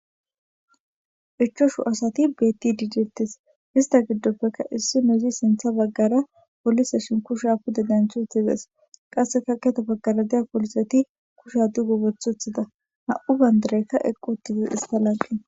ichchoshu asati bettidi detes, ista giddoppekka issinozi sintha baggara poliseshin kusha pude denthi dees qasse haketi baggara diya poliseti kusha duqu othuthida nam'u bayndarekka eqi utide ista lanqen